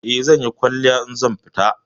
Eh, zanyi kwalliya idan zan fita.